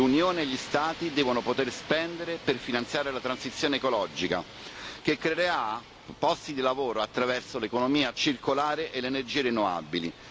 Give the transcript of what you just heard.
L'Unione e gli Stati devono poter spendere per finanziare la transizione ecologica, che creerà posti di lavoro attraverso l'economia circolare e le energie rinnovabili.